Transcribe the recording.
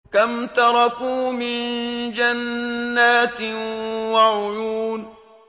كَمْ تَرَكُوا مِن جَنَّاتٍ وَعُيُونٍ